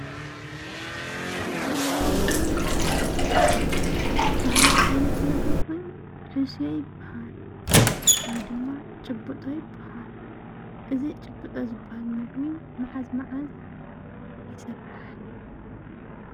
እዚ ትሪእዎ ዘለኹም ኣብ ምስሊ ባህላዊ ዓይነት ምግቢ ኾይኑ ሕስዮ ይባሃል፡፡ ወይድማ ጭብጦ ይባሃል፡፡ እዚ ጭብጦ ዝባሃል ምግቢ መዓዝ መዓዝ ይስራሕ?